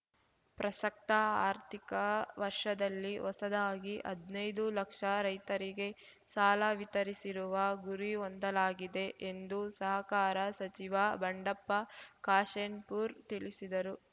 ಪ್ರಸಕ್ತ ಆರ್ಥಿಕ ವರ್ಷದಲ್ಲಿ ಹೊಸದಾಗಿ ಹದ್ನೈದು ಲಕ್ಷ ರೈತರಿಗೆ ಸಾಲ ವಿತರಿಸಿರುವ ಗುರಿ ಹೊಂದಲಾಗಿದೆ ಎಂದು ಸಹಕಾರ ಸಚಿವ ಬಂಡಪ್ಪ ಕಾಶೆಂಪೂರ್ ತಿಳಿಸಿದರು